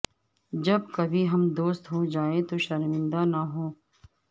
جب کبھی ہم دوست ہو جائیں تو شرمندہ نہ ہوں